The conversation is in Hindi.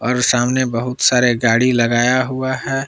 और सामने बहुत सारे गाड़ी लगाया हुआ है।